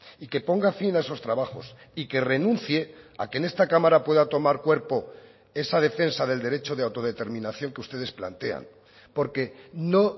y que ponga fin a esos trabajos y que renuncie a que en esta cámara pueda tomar cuerpo esa defensa del derecho de autodeterminación que ustedes plantean porque no